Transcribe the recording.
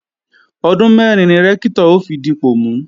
Ọdún mẹ́rin ni Rẹ́ktọ̀ ó fi dipọ̀ mú